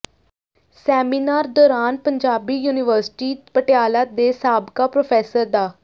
seminar ਦੌਰਾਨ Punjabi university Patiala ਦੇ ਸਾਬਕਾ ਪ੍ਰੋਫ਼ੈਸਰ ਡਾ